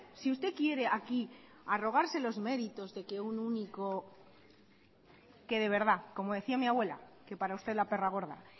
si usted quiere aquí arrogarse los méritos de que un único que de verdad como decía mi abuela que para usted la perra gorda